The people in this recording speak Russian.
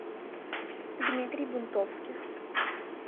дмитрий бунтовских